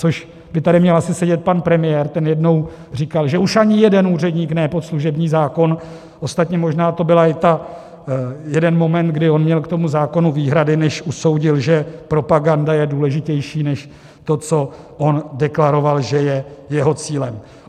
Což by tady měl asi sedět pan premiér, ten jednou říkal, že už ani jeden úředník ne pod služební zákon, ostatně možná to byl i ten jeden moment, kdy on měl k tomu zákonu výhrady, než usoudil, že propaganda je důležitější než to, co on deklaroval, že je jeho cílem.